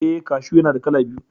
Eh, kashu yana da kala biyu.